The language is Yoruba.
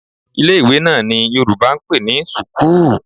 Ilé-ìwé náà ni Yorùbá ń pè ní sùkúù.